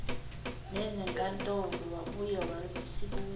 nezinkantolo wabuye wasibuza